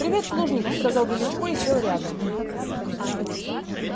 привет плужников сказал величко и сел рядом